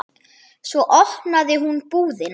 Svo opnaði hún búðina.